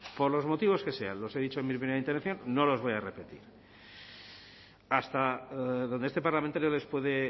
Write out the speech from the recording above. por los motivos que sean los he dicho en mi primera intervención no los voy a repetir hasta donde este parlamentario les puede